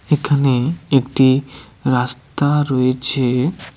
এখানে একটি রাস্তা রয়েছে।